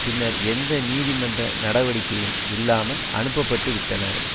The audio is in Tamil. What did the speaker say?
பின்னர் எந்த நீதி மன்ற நடவடிக்கையும் இல்லாமல் அனுப்பப்பட்டுவிட்டனர்